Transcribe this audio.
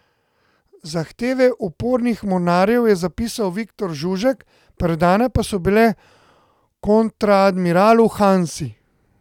Zahteve upornih mornarjev je zapisal Viktor Žužek, predane pa so bile kontraadmiralu Hansi.